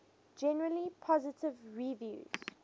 generally positive reviews